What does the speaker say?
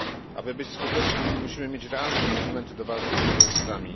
Aby być skutecznymi, musimy mieć realne instrumenty do walki z terrorystami.